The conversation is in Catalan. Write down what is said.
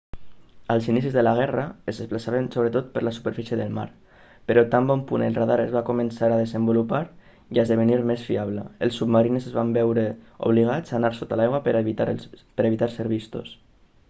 als inicis de la guerra es desplaçaven sobretot per la superfície del mar però tan bon punt el radar es va començar a desenvolupar i a esdevenir més fiable els submarins es van veure obligats a anar sota l'aigua per a evitar ser vistos